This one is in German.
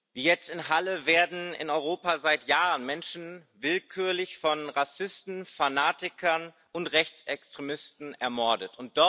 Wie jetzt in Halle werden in Europa seit Jahren Menschen willkürlich von Rassisten, Fanatikern und Rechtsextremisten ermordet.